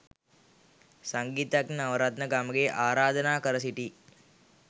සංගීතඥ නවරත්න ගමගේ ආරාධනා කර සිටී.